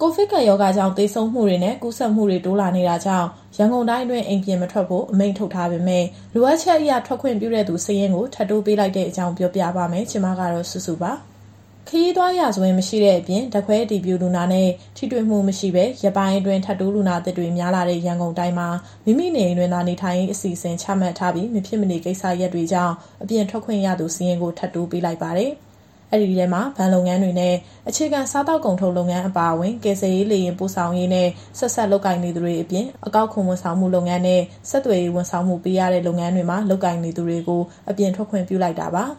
ကိုဗစ်ကပ်ရောဂါကြောင့် သေဆုံးမှုတွေနဲ့ ကူးစက်မှုတွေ တိုးလာနေတာကြောင့် ရန်ကုန်တိုင်းအတွင်း အိမ်ပြင်မထွက်ဖို့ အမိန့်ထုတ်ပြန်ထားပေမဲ့ လိုအပ်ချက်အရ ထွက်ခွင့်ပြုတဲ့သူ စာရင်းကိုထပ်တိုးပေးလိုက်တဲ့အကြောင်း ပြောပြပါမယ်။ ဒီသတင်းကို ဗွီအိုအေမြန်မာပိုင်း သတင်းထောက် မစုစုက တင်ဆက်ပေးမှာပါ။ ခရီးသွားရာဇဝင်မရှိတဲ့အပြင် ဓာတ်ခွဲအတည်ပြုလူနာနဲ့ ထိတွေ့မှုမရှိဘဲ ရက်ပိုင်းအတွင်း ထပ်တိုးလူနာသစ်တွေ များလာတဲ့ ရန်ကုန်တိုင်းမှာ မိမိနေအိမ်တွင်သာ နေထိုင်ရေးအစီအစဉ်ချမှတ်ထားပြီး မဖြစ်မနေကိစ္စတွေကြောင့် အပြင်ထွက်ခွင့်ရသူ စာရင်းကို ထပ်တိုးပေးလိုက်ပါတယ်။ အဲဒီထဲမှာ ဘဏ်လုပ်ငန်းတွေနဲ့ အခြေခံစားသောက်ကုန်ထုတ်လုပ်ငန်းအပါအဝင်၊ ကယ်ဆယ်ရေးလေယာဉ်ပို့ဆောင်ရေးနဲ့ ဆက်စပ်လုပ်ကိုင်နေသူတွေအပြင်၊ အကောက်ခွန်ဝန်ဆောင်မှုလုပ်ငန်းနဲ့ ဆက်သွယ်ရေးဝန်ဆောင်မှုပေးရတဲ့ လုပ်ငန်းတွေမှာ လုပ်ကိုင်နေသူတွေကို အပြင်ထွက်ခွင့်ပြုလိုက်တာပါ။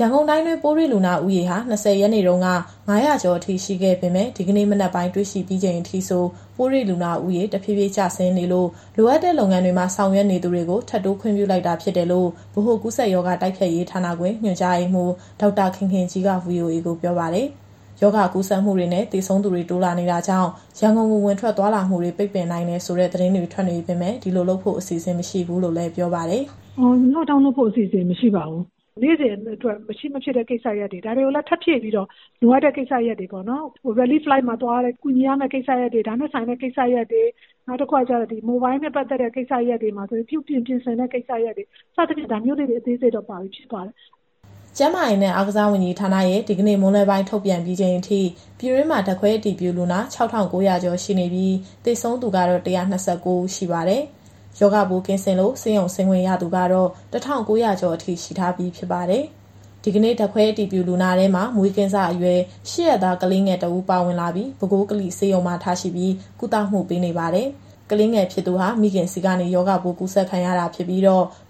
ရန်ကုန်တိုင်းတွင်းပိုးတွေ့လူနာဦးရေဟာ၂၀ ရက်နေ့တုန်းက ၅၀၀ ကျော်အထိရှိခဲ့ပေမဲ့ ဒီကနေ့ မနက်ပိုင်းတွေ့ရှိပြီးချိန်ထိဆို ပိုးတွေ့လူနာဦးရေ တဖြည်းဖြည်း ကျဆင်းနေလို့ လိုအပ်တဲ့လုပ်ငန်းတွေမှာ ဆောင်ရွက်နေသူတွေကို ထပ်တိုးခွင့်ပြုလိုက်တာဖြစ်တယ်လို့ဗဟိုကူးစက်ရောဂါတိုက်ဖျက်ရေးဌာနခွဲ ညွှန်ကြားရေးမှူး ဒေါက်တာခင်ခင်ကြီးက VOA ကိုပြောပါတယ်။ ရောဂါကူးစက်မှုတွေနဲ့ သေဆုံးသူတွေ တိုးလာနေတာကြောင့် ရန်ကုန်ကို ဝင်ထွက်သွားလာမှုတွေ ပိတ်ပင်နိုင်တယ်ဆိုတဲ့ သတင်းတွေ ထွက်နေပေမဲ့ ဒီလိုလုပ်ဖို့ အစီအစဉ်မရှိဘူးလို့လည်း ပြောပါတယ်။ “Lockdown လုပ်ဖို့ အစီအစဉ် မရှိပါဘူး။ နေ့စဉ်အတွက် မရှိမဖြစ်တဲ့ကိစ္စရပ်တွေ ဒါတွေကိုလည်း ထပ်ဖြည့်ပြီးတော့ လိုအပ်တဲ့ကိစ္စရပ်တွေပေါ့နော်။ Relief Flight မှာ သွားတဲ့ကူညီရမယ့်ကိစ္စရပ်တွေ၊ ဒါနဲ့ဆိုင်တဲ့ကိစ္စရပ်တွေ၊ နောက်တခုကကျတော့ Mobile နဲ့ပတ်သက်တဲ့ကိစ္စရပ်တွေမှာဆိုရင်ပြုပြင်၊ ပြင်ဆင်တဲ့ကိစ္စရပ်တွေ စသဖြင့် ဒါမျိုးလေးတွေ အသေးစိတ်တော့ ပါပြီးဖြစ်ပါတယ်။" ကျန်းမာရေးနဲ့ အားကစားဝန်ကြီးဌာနရဲ့ဒီကနေ့ မွန်းလွဲပိုင်းထုတ်ပြန်ပြီးချိန်အထိ ပြည်တွင်းမှာဓာတ်ခွဲအတည်ပြုလူနာ ၆,၉၀၀ ကျော်ရှိနေပြီး သေဆုံးသူကတော့ ၁၂၉ ဦးရှိပါတယ်။ ရောဂါပိုးကင်းစင်လို့ ဆေးရုံဆေးခွင့်ရသူကတော့ ၁,၉၀၀ ကျော်အထိ ရှိထားပြီးဖြစ်ပါတယ်။ ဒီကနေ့ဓာတ်ခွဲအတည်ပြုလူနာထဲမှာ မွေးကင်းစအရွယ် ၈ ရက်သားကလေးငယ်တဦးပါ ပါဝင်လာပြီး ပဲခူးကလိဆေးရုံမှာ ထားရှိပြီး ကုသမှုပေးနေပါတယ်။ ကလေးငယ်ဖြစ်သူဟာမိခင်ဆီကနေ ရောဂါပိုးကူးစက်ခံရတာဖြစ်ပြီး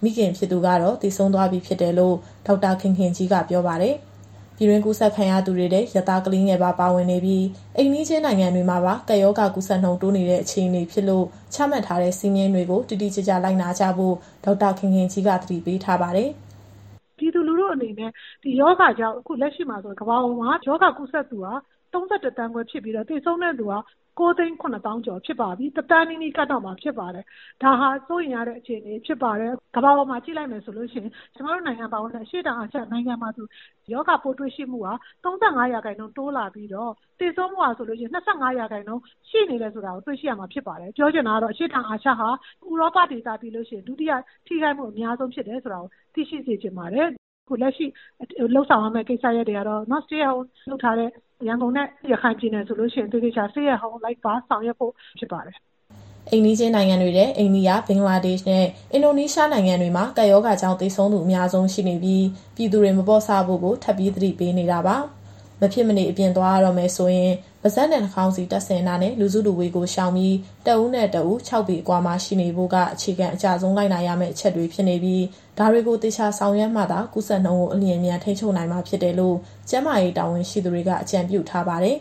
မိခင်ဖြစ်သူကတော့ သေဆုံးသွားပြီဖြစ်တယ်လို့ဒေါက်တာခင်ခင်ကြီးက ပြောပါတယ်။ ပြည်တွင်းကူးစက်ခံရသူတွေထဲ ရက်သားကလေးငယ်ပါ ပါဝင်နေပြီး အိမ်နီးချင်းနိုင်ငံတွေမှာပါ ကပ်ရောဂါကူးစက်နှုန်း တိုးနေတဲ့အခြေအနေဖြစ်လို့ ချမှတ်ထားတဲ့စည်းမျဉ်းတွေကို တိတိကျကျလိုက်နာကြဖို့ ဒေါက်တာခင်ခင်ကြီးက သတိပေးထားပါတယ်။ “ပြည်သူလူထုအနေနဲ့ ဒီရောဂါကြောင့် အခုလက်ရှိမှာဆိုရင် ကမ္ဘာပေါ်မှာရောဂါကူးစက်သူဟာ ၃၁ သန်းခွဲဖြစ်ပြီးတော့သေဆုံးသူက ၉၇၀,၀၀၀ ကျော်ဖြစ်ပါပြီ။ ၁,၀၀၀,၀၀၀ နီးနီးကပ်တော့မှာ ဖြစ်ပါတယ်။ ဒါဟာစိုးရိမ်ရတဲ့အခြေအနေ ဖြစ်ပါတယ်။ကမ္ဘာပေါ်မှာကြည့်လိုက်မယ်ဆိုရင် ကျမတို့နိုင်ငံပါဝင်တဲ့ အရှေ့တောင်အာရှနိုင်ငံမှာဆိုရောဂါပိုးတွေ့ရှိမှုက ၃၅ ရာခိုင်နှုန်းတိုးလာပြီးတော့ သေဆုံးမှုက ၂၅ ရာခိုင်နှုန်းရှိနေတယ်ဆိုတာကို တွေ့ရှိရမှာဖြစ်ပါတယ်။ ပြောချင်တာကတော့ အရှေ့တောင်အာရှဟာ ဥရောပဒေသပြီးလို့ရှိရင် ဒုတိယထိခိုက်မှုအများဆုံးဖြစ်တယ်ဆိုတာကို သိရှိစေချင်ပါတယ်။ အခုလက်ရှိလုပ်ဆောင်ရမယ့်ကိစ္စရပ်တွေကတော့ Stay at Home လုပ်ထားတဲ့ရန်ကုန်နဲ့ ရခိုင်ပြည်နယ်ဆိုရင် သေသေချာချာ Stay at Home လိုက်ပါဆောင်ရွက်ဖို့ဖြစ်ပါတယ်။" အိမ်နီးချင်းနိုင်ငံတွေထဲ အိန္ဒိယ၊ ဘင်္ဂလားဒေ့ရှ်နဲ့ အင်ဒိုနီးရှားနိုင်ငံတွေမှာ ကပ်ရောဂါကြောင့် သေဆုံးသူအများဆုံးရှိနေပြီး ပြည်သူတွေ မပေါ့ဆဖို့ကို ထပ်ပြီးသတိပေးနေတာပါ။မဖြစ်မနေ အပြင်သွားရတော့မယ်ဆိုရင် ပါးစပ်နဲ့ နှာခေါင်းစည်းတပ်ဆင်တာနဲ့ လူစုလူဝေးကိုရှောင်ပြီးတဦးနဲ့ တဦး ခြောက်ပေအကွာမှာရှိနေဖို့က အခြေခံအကျဆုံး လိုက်နာရမယ့်အချက်တွေဖြစ်နေပြီး ဒါတွေကိုသေချာဆောင်ရွက်မှသာ ကူးစက်နှုန်းကို အလျင်အမြန်ထိန်းချုပ်နိုင်မှာဖြစ်တယ်လို့ ကျန်းမာရေးတာဝန်ရှိသူတွေက အကြုံပြုထားပါတယ်။